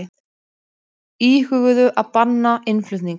Íhuguðu að banna innflutning